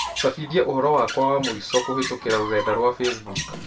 cabithia ũhoro wakwa wa mũico kũhītũkīra rũrenda rũa facebook.